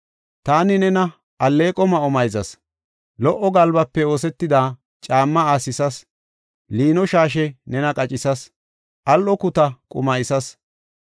Taani nena alleeqo ma7o mayzas; lo77o galbafe oosetida caamma aasisas; liino shaashe nena qacisas; al7o kuta qulintisas.